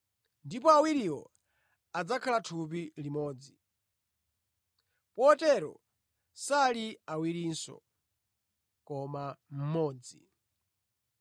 ndipo awiriwo adzakhala thupi limodzi.’ Potero sali awirinso, koma mmodzi.